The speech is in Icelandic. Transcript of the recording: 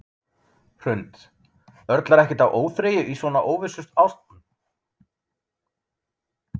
Hrund: Örlar ekkert á óþreyju svona í þessu óvissuástandi?